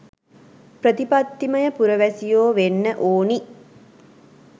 ප්‍රතිපත්තිමය පුරවැසියෝ වෙන්න ඕනි